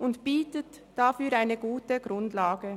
und bietet dafür eine gute Grundlage.